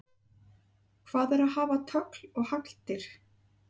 Hvað er að hafa tögl og hagldir?